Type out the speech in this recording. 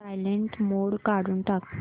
silent mode काढून टाक